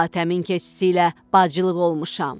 Hatəmin keçisi ilə bacılıq olmuşam.